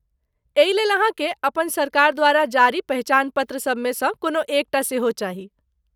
एहिलेल अहाँकेँ अपनसरकार द्वारा जारी पहिचान पत्रसभमे सँ कोनो एक टा सेहो चाही।